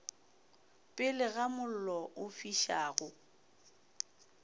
pele ga mollo o fišago